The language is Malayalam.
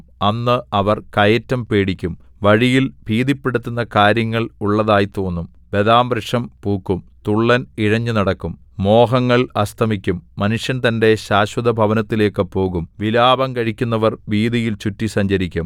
അന്ന് അവർ കയറ്റം പേടിക്കും വഴിയിൽ ഭീതിപ്പെടുത്തുന്ന കാര്യങ്ങൾ ഉള്ളതായി തോന്നും ബദാംവൃക്ഷം പൂക്കും തുള്ളൻ ഇഴഞ്ഞുനടക്കും മോഹങ്ങൾ അസ്തമിക്കും മനുഷ്യൻ തന്റെ ശാശ്വതഭവനത്തിലേക്കു പോകും വിലാപം കഴിക്കുന്നവർ വീഥിയിൽ ചുറ്റി സഞ്ചരിക്കും